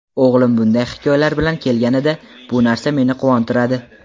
O‘g‘lim bunday hikoyalar bilan kelganida, bu narsa meni quvontiradi.